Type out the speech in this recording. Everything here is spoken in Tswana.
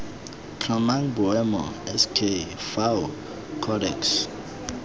tlhomang boemo sk fao codex